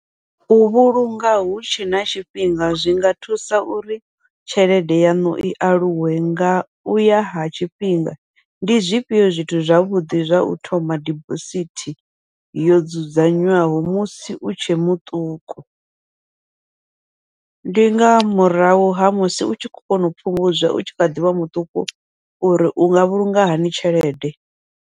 U vhulunga hu tshe na tshifhinga zwinga thusa uri tshelede yaṋu i aluwe nga uya ha tshifhinga, ndi zwifhio zwithu zwavhuḓi zwa u thoma dibosithi yo dzudzanywaho musi u tshe muṱuku, ndi nga murahu ha musi u tshi khou kona u fhungudza u tshi kha ḓivha muṱuku uri unga vhulunga hani tshelede.